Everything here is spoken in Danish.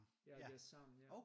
Ja det er sammen ja